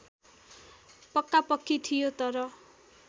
पक्कापक्की थियो तर